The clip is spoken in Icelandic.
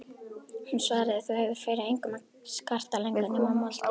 Hún svaraði: Þú hefur fyrir engum að skarta lengur nema moldinni.